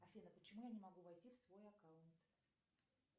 афина почему я не могу войти в свой аккаунт